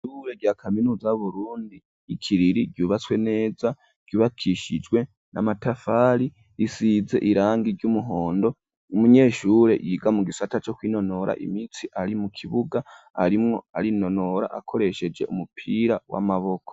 Ishure rya kaminuza y'Urundi i Kiriri, ryubatswe neza, ryubakishijwe n'amatafari, risize irangi ry'umuhondo, umunyeshure yiga mu gisata co kw'inonora imintsi ari mu kibuga arimwo arinonora akoresheje umupira w'amaboko.